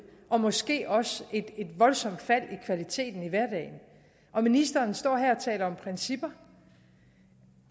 og måske også et voldsomt fald i kvaliteten i hverdagen og ministeren står her og taler om principper